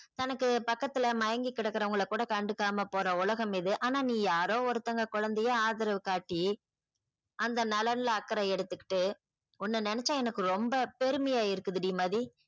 தனக்கு பக்கத்துல மயங்கி கிடக்குறவங்கள கூட கண்டுக்காம போற உலகம் இது ஆனா நீ யாரோ ஒருதவங்க குழந்தையை ஆதரவு காட்டி அந்த நலன் ல அக்கறை எடுத்துகிட்டு உன்ன நெனச்சா எனக்கு ரொம்ப பெருமையா இருக்குது டி மதி